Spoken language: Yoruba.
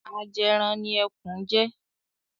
Ajẹran ni Ẹkùn jẹ́.